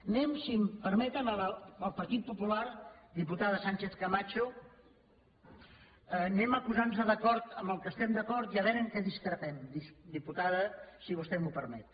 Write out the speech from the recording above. anem si em permeten al partit popular diputada sánchez camacho anem a posar nos d’acord en allò en què estem d’acord i a veure en què discrepem diputada si vostè m’ho permet